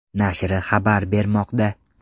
nashri xabar bermoqda .